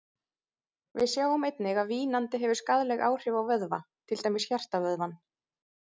Við sjáum einnig að vínandi hefur skaðleg áhrif á vöðva, til dæmis hjartavöðvann.